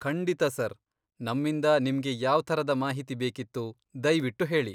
ಖಂಡಿತ, ಸರ್! ನಮ್ಮಿಂದ ನಿಮ್ಗೆ ಯಾವ್ಥರದ ಮಾಹಿತಿ ಬೇಕಿತ್ತು ದಯ್ವಿಟ್ಟು ಹೇಳಿ.